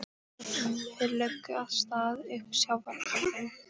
Þeir lögðu af stað upp sjávarkambinn.